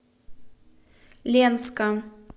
ленска